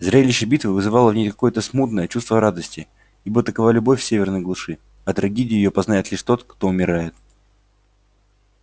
зрелище битвы вызывало в ней какое то смутное чувство радости ибо такова любовь в северной глуши а трагедию её познает лишь тот кто умирает